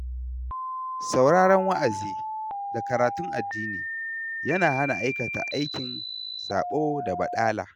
Sauraren wa'azi da karatun addini, yana hana aikata aikin saɓo da baɗala